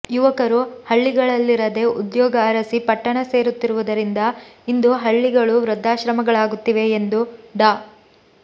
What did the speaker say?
ಯುವಕರು ಹಳ್ಳಿಗಳಲ್ಲಿರದೇ ಉದ್ಯೋಗ ಅರಸಿ ಪಟ್ಟಣ ಸೇರುತ್ತಿರುವುದರಿಂದ ಇಂದು ಹಳ್ಳಿಗಳು ವೃದ್ಧಾಶ್ರಮಗಳಾಗುತ್ತಿವೆ ಎಂದು ಡಾ